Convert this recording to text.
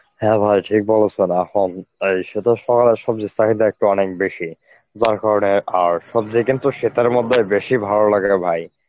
হ্যাঁ ভাই ঠিক বলেছেন, এহন অ্যাঁ সে তো শহরে সবজির চাহিদা একটু অনেক বেশি. যার কারণে আর সবজি কিন্তু শীতের মধ্যে বেশি ভালো লাগে রে ভাই.